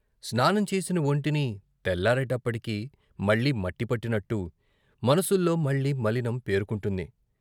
స్నానం చేసిన వొంటిని తెల్లారేటప్పటికి మళ్ళీ మట్టి పట్టినట్టు మనసుల్లో మళ్ళీ మలినం పేరుకుంటుంది.